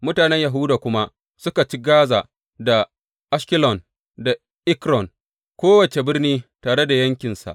Mutanen Yahuda kuma suka ci Gaza, Ashkelon, da Ekron, kowace birni tare da yankinsa.